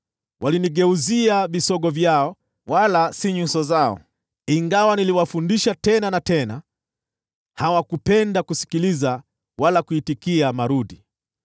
Walinigeuzia visogo vyao, wala si nyuso zao. Ingawa niliwafundisha tena na tena, hawakupenda kusikiliza wala kuitikia adhabu.